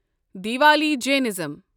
Diwali Jainism